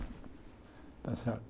Está certo?